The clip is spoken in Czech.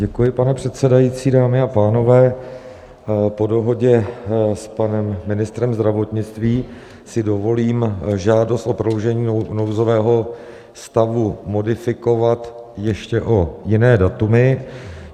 Děkuji, pane předsedající, dámy a pánové, po dohodě s panem ministrem zdravotnictví si dovolím žádost o prodloužení nouzového stavu modifikovat ještě o jiné datumy.